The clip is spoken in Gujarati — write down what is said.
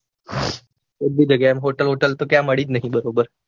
એક બી જગ્યાય hotel બોટલ તો ક્યાંય બરોબર